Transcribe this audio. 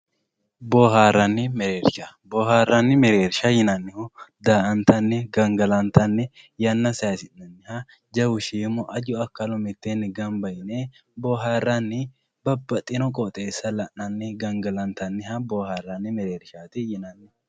Booharani mereersha boharani mereersha yinanihu daa`antani gangalantani yana sayisinaniha jawu shiimu aju akalu miteeni ganba yine booharani babaxino qooxesa lanani gangalantaniha booharani merershati yinani.